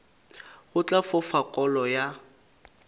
go tla fofa kolo ya